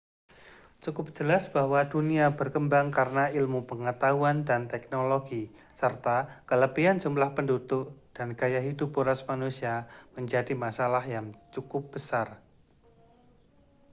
cukup jelas bahwa dunia berkembang karena ilmu pengetahuan dan teknologi serta kelebihan jumlah penduduk dan gaya hidup boros manusia menjadi masalah yang cukup besar